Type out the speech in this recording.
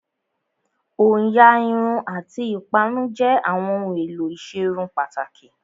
Òyà Irun àti ìparun jẹ́ àwọn ohun èlò ìserun pàtàkì